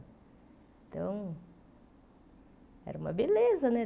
Então... Era uma beleza, né?